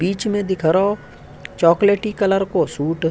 बीच में दिख रहो चॉकलेटी कलर को सूट ।